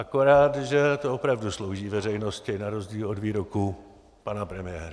Akorát že to opravdu slouží veřejnosti, na rozdíl od výroků pana premiéra.